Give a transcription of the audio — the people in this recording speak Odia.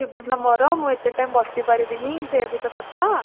ଥିବ ନା ମୋର ମୁଁ ଏତେ time ବସି ପାରିବିନି ସେୟା ବି ତ କଥା